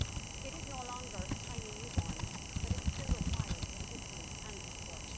It is no longer a tiny new born, but it still requires assistance and support.